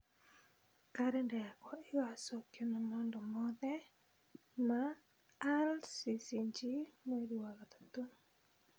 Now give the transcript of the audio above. Kalenda yakwa ĩgaacokio na maũndũ mothe ma rccg mweri wa gatatũ